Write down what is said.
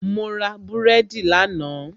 mo ra búrẹ́dì lánàá